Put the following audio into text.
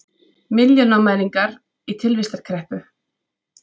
Milljónamæringar í tilvistarkreppu